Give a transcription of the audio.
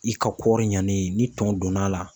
I ka kɔɔri ɲanen ni tɔn donn'a la.